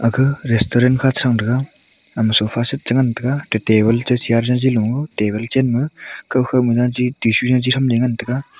ka resturent kha che sang tega ama sofa seat che ngan tega to table che chair jaji lo table chem ma kokho ma jaji tissue jaji tham le ngan tega.